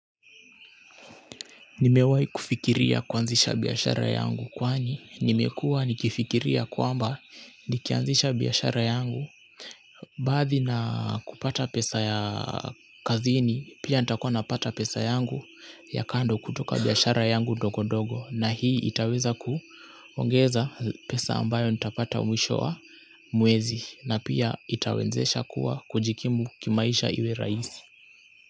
Nimewahi kufikiria kuanzisha biashara yangu kwani nimekua nikifikiria kwamba nikianzisha biashara yangu baadhi na kupata pesa ya kazini pia nitakuwa napata pesa yangu ya kando kutoka biashara yangu ndogondogo na hii itaweza kuongeza pesa ambayo nitapata mwisho wa mwezi na pia itawezesha kuwa kujikimu kimaisha iwe rahisi.